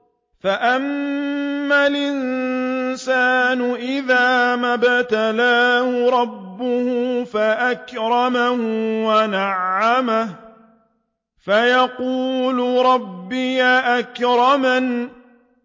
فَأَمَّا الْإِنسَانُ إِذَا مَا ابْتَلَاهُ رَبُّهُ فَأَكْرَمَهُ وَنَعَّمَهُ فَيَقُولُ رَبِّي أَكْرَمَنِ